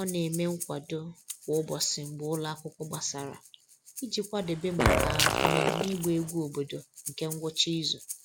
Ọ na-eme nkwado kwa ụbọchị mgbe ụlọ akwụkwọ gbasara iji kwadebe maka mmemme ịgba egwu obodo nke ngwụcha izu.